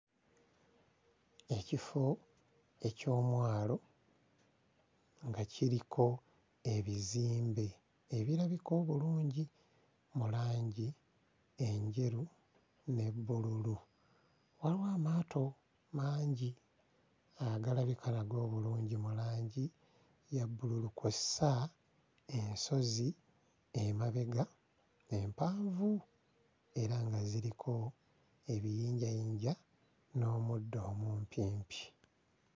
Ekifo eky'omwalo nga kiriko ebizimbe ebirabika obulungi mu langi enjeru ne bbululu. Waliwo amaato mangi agalabika nago obulungi mu langi ya bbululu, kw'ossa ensozi emabega empanvu era nga ziriko ebiyinjayinja n'omuddo omumpimpi.